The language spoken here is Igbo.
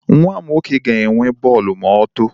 Nwa m nwoke ga-enwe bọọlụ ma otoo.